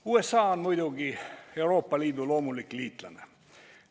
USA on muidugi Euroopa Liidu loomulik liitlane.